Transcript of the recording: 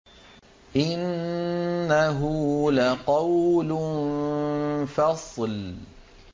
إِنَّهُ لَقَوْلٌ فَصْلٌ